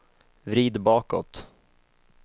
vrid bakåt